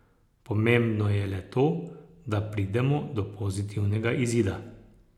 Pomembno je le to, da pridemo do pozitivnega izida.